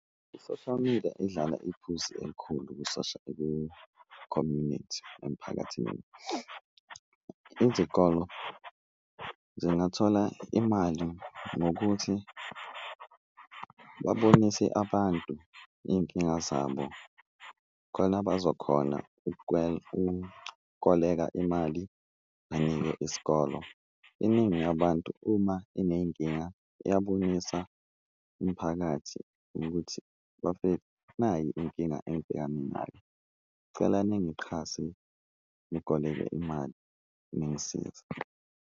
I-social media idlala iphuzi elikhulu ku-community emphakathini, izikolo zingathola imali ngokuthi babonise abantu iyinkinga zabo khona abazokhona ukukoleka imali banike isikolo. Iningi yabantu uma ineyinkinga iyabonisa umphakathi ukuthi bafethu, nayi inkinga engibhekane nayo, ngicela ningiqhase nikoleke imali, ningisize.